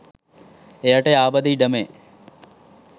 එයට යාබද ඉඩමේ